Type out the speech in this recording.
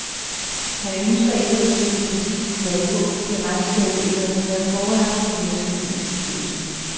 Han ønsker ikke at sætte det præcise tal på, fordi regnskabet endnu ikke har været forelagt for virksomhedens bestyrelse.